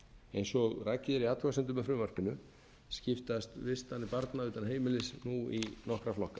eins og rakið er í athugasemdum með frumvarpinu skiptast vistanir barna utan heimilis nú í nokkra flokka